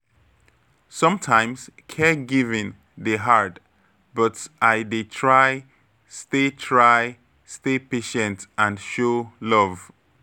Sometimes caregiving dey hard, but I dey try stay try stay patient and show love.